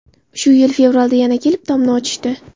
Shu yil fevralda yana kelib, tomni ochishdi.